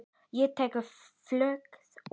Og tekur flugið út.